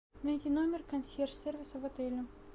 найти номер консьерж сервиса в отеле